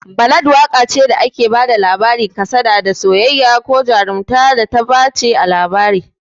Ballad waƙa ce da ake bada labarin kasada a soyayya, ko a jarumta, da ta dace a rerawa waƙa